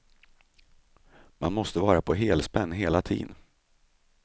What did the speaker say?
Man måste vara på helspänn hela tiden.